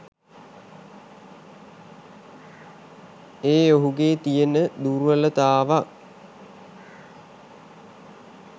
ඒ ඔහුගේ තිබෙන දුර්වලතාවක්